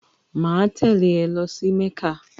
Máa tèlé e lo sí Mékà